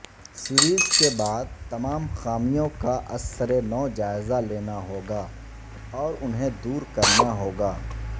series کے بعد تمام خامیوں کا ازسرنوجائزہ لینا ہوگا اور انہیں دور کرنا ہوگا